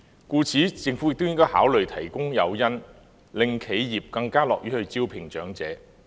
故此，政府亦應考慮提供誘因，令企業更樂於招聘長者。